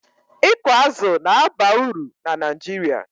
ịkụ azụ̀ na-aba uru na Naijiria